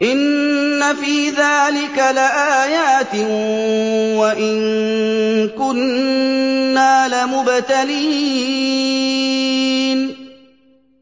إِنَّ فِي ذَٰلِكَ لَآيَاتٍ وَإِن كُنَّا لَمُبْتَلِينَ